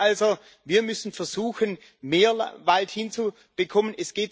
Das heißt also, wir müssen versuchen, mehr Wald hinzubekommen.